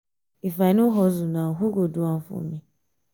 if i no hustle now who go do am for me?